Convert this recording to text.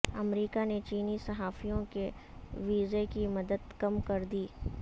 امریکہ نے چینی صحافیوں کے ویزے کی مدت کم کر دی